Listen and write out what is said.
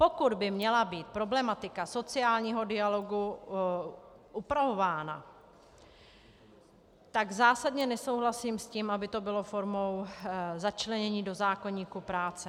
Pokud by měla být problematika sociálního dialogu upravována, tak zásadně nesouhlasím s tím, aby to bylo formou začlenění do zákoníku práce.